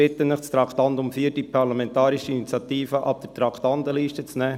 Ich bitte Sie, das Traktandum 4, die Parlamentarische Initiative, von der Traktandenliste wegzunehmen.